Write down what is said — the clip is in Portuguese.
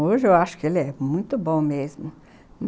Hoje eu acho que ele é muito bom mesmo.